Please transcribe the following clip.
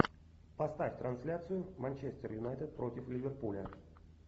поставь трансляцию манчестер юнайтед против ливерпуля